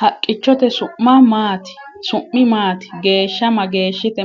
Haqqichchotte su'mi maati? geesha mageeshshitte?